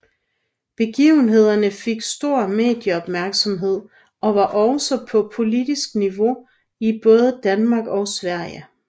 Begivenhederne fik stor medie opmærksomhed og var også på politisk niveau i både Danmark og Sverige